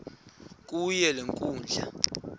kuyo le nkundla